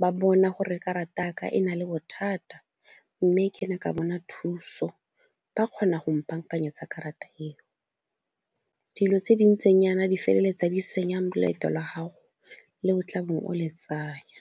ba bona gore karata ya ka e na le bothata mme ke ne ka bona thuso, ba kgona go mpa bankanyetse karata eo. Dilo tse di ntseng jaana di feleletsa di senya loeto la gago le o tla bong o le tsaya.